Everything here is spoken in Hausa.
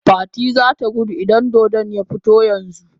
Fati zata gudu idan dodon ya fito yanzu